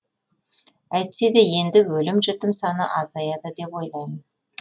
әйтсе де енді өлім жітім саны азаяды деп ойлаймын